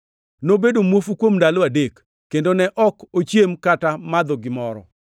Nobedo muofu kuom ndalo adek, kendo ne ok ochiemo kata madho gimoro.